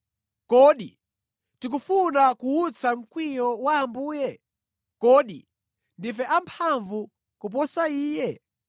Kodi tikufuna kuwutsa mkwiyo wa Ambuye? Kodi ndife amphamvu kuposa Iye?